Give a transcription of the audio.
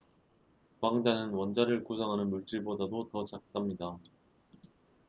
광자는 원자를 구성하는 물질보다도 더 작답니다